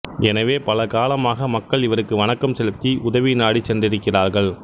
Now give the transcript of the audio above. எனவே பல காலமாக மக்கள் இவருக்கு வணக்கம் செலுத்தி உதவி நாடிச் சென்றிருக்கிறார்கள்